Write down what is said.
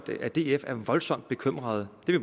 df er voldsomt bekymrede det vi